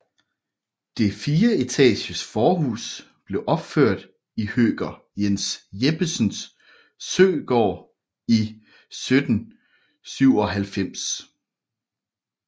Det fireetages forhus blev opført for høker Jens Jeppesen Søegaard i 1797